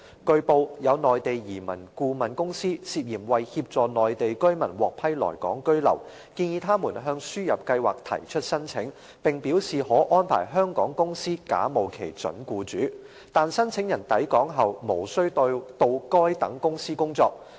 據報，有內地移民顧問公司涉嫌為協助內地居民獲批來港居留，建議他們向輸入計劃提出申請，並表示可安排香港公司假冒其準僱主，但申請人抵港後無需到該等公司工作。